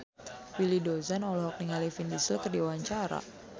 Willy Dozan olohok ningali Vin Diesel keur diwawancara